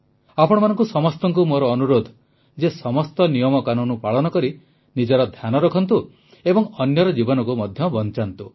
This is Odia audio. ଆପଣମାନଙ୍କୁ ସମସ୍ତଙ୍କୁ ମୋର ଅନୁରୋଧ ଯେ ସମସ୍ତ ନିୟମକାନୁନ ପାଳନ କରି ନିଜର ଧ୍ୟାନ ରଖନ୍ତୁ ଓ ଅନ୍ୟର ଜୀବନକୁ ମଧ୍ୟ ବଂଚାନ୍ତୁ